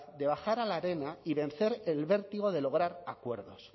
de bajar a la arena y vencer el vértigo de lograr acuerdos